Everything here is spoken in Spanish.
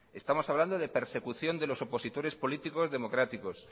estamos hablando de persecución de los opositores políticos democráticos